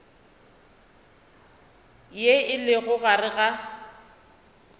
ye e lego gare ga